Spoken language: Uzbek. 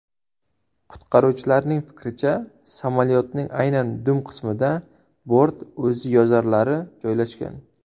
Qutqaruvchilar fikricha, samolyotning aynan dum qismida bort o‘ziyozarlari joylashgan.